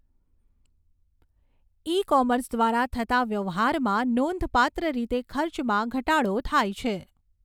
ઈ commerce દ્વારા થતા વ્યવહારમાં નોંધપાત્ર રીતે ખર્ચમાં ઘટાડો થાય છે.